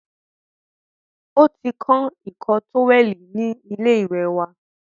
O ti kán ìkọ́ tówẹ̀lì ni ilé ìwẹ̀ wa.